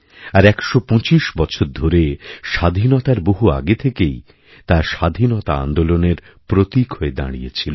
আর ১২৫ ধরে স্বাধীনতার বহু আগে থেকেই তা স্বাধীনতা আন্দোলনের প্রতীক হয়েদাঁড়িয়েছিল